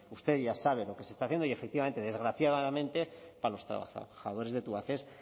usted ya sabe lo que se está haciendo y efectivamente desgraciadamente para los trabajadores de tubacex